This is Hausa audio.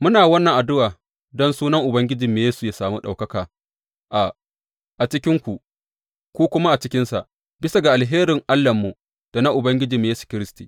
Muna wannan addu’a don sunan Ubangijinmu Yesu yă sami ɗaukaka a cikinku, ku kuma a cikinsa, bisa ga alherin Allahnmu da na Ubangiji Yesu Kiristi.